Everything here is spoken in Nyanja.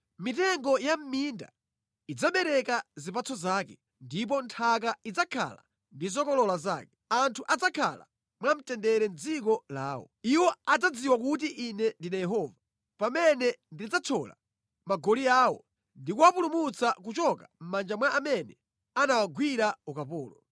Mitengo ya mʼminda idzabereka zipatso zake, ndipo nthaka idzakhala ndi zokolola zake. Anthu adzakhala mwamtendere mʼdziko lawo. Iwo adzadziwa kuti Ine ndine Yehova, pamene ndidzathyola magoli awo ndi kuwapulumutsa kuchoka mʼmanja mwa amene anawagwira ukapolo.